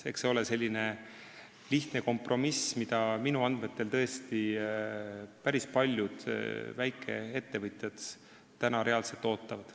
Eks see ole lihtne kompromiss, mida minu andmetel tõesti päris paljud väikeettevõtjad reaalselt ootavad.